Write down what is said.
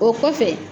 O kɔfɛ